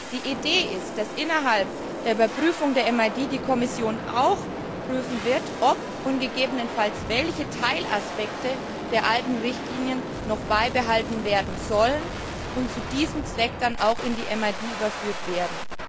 Die Idee ist, dass die Kommission im Rahmen der Überprüfung der MID auch prüfen wird, ob und gegebenenfalls welche Teilaspekte der alten Richtlinien noch beibehalten werden sollen und zu diesem Zweck dann auch in die MID überführt werden.